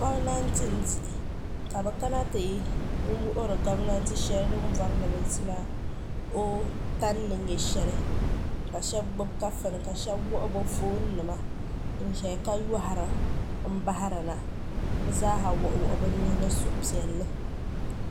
gominatɛ m di ka be.kana ti wuri gominatɛ shɛli ni di o.tani ni nyɛ li ka shɛbi gbabi kaƒɔni ka be gbabigbabiba ka yuri m.bahirana be zaa kuliba